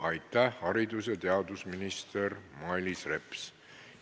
Aitäh, haridus- ja teadusminister Mailis Reps!